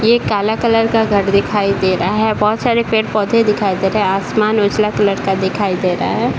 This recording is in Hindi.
ये काला कलर का घर दिखाई दे रहा है बहुत सारे पड़े-पौधे दिखाई दे रहे है आसमान उजला कलर का दिखाई दे रहा हैं ।